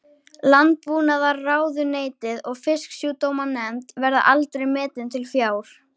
Landbúnaðarráðuneytið og Fisksjúkdómanefnd, verða aldrei metin til fjár.